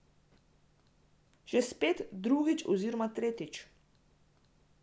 Že spet, drugič oziroma tretjič.